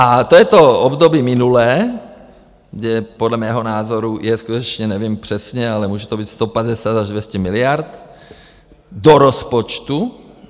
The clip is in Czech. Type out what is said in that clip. A to je to období minulé, kde podle mého názoru je skutečně, nevím přesně, ale může to být 150 až 200 miliard do rozpočtu.